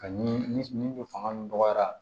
Ani ni fanga min dɔgɔyara